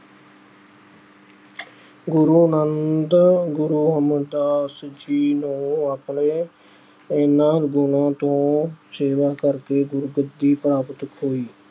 ਗੁਰੂ ਗੁਰੂ ਅਮਰਦਾਸ ਜੀ ਨੂੰ ਆਪਣੇ ਇਹਨਾਂ ਗੁਣਾਂ ਤੋਂ ਸੇਵਾ ਕਰਕੇ ਗੁਰਗੱਦੀ ਪ੍ਰਾਪਤ ਹੋਈ।